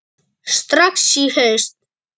Strax í haust?